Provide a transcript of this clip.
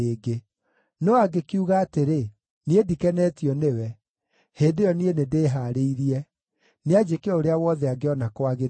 No angĩkiuga atĩrĩ, ‘Niĩ ndikenetio nĩwe,’ hĩndĩ ĩyo niĩ nĩndĩhaarĩirie; nĩanjĩke o ũrĩa wothe angĩona kwagĩrĩire.”